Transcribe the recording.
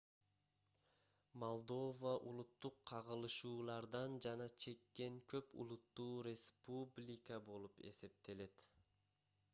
молдова улуттук кагылышуулардан жапа чеккен көп улуттуу республика болуп эсептелет